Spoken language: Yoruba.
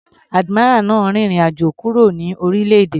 Admiral náà rin ìrìn àjò kúrò ní orílẹ̀-èdè.